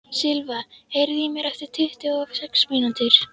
Silva, heyrðu í mér eftir tuttugu og sex mínútur.